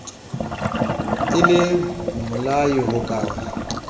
e le mmolai ho ka